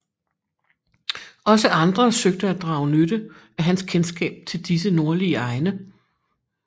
Også andre søgte at drage nytte af hans kendskab til disse nordlige egne